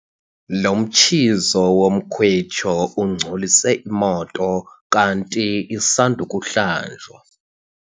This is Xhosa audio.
Lo mtshizo womkhwitsho ungcolise imoto kanti isand' ukuhlanjwa.